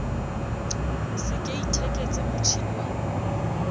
se ke itheketse motjhini wa